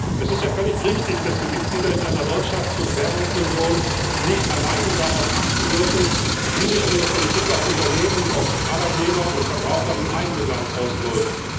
Es ist ja völlig richtig, dass die Mitglieder in einer Wirtschafts und Währungsunion nicht alleine darauf achten dürfen, wie sich ihre Politik auf Unternehmen, auf Arbeitnehmer und Verbraucher im eigenen Land auswirkt.